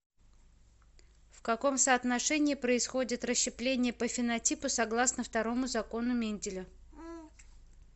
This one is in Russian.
в каком соотношении происходит расщепление по фенотипу согласно второму закону менделя